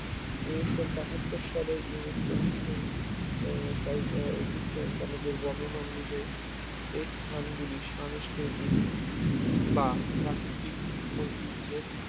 ঊনিশ বাহাত্তর সালের UNESCO বিশ্ব আহ সাহি ঐতিহ্য সনদের বর্ণনা অনুযায়ী এই স্থানগুলি সাংস্কৃতিক বা প্রাকৃতিক ঐতিহ্যের